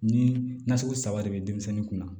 Ni nasugu saba de bɛ denmisɛnnin kun na